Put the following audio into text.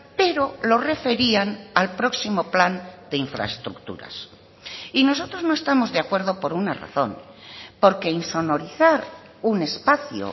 pero lo referían al próximo plan de infraestructuras y nosotros no estamos de acuerdo por una razón porque insonorizar un espacio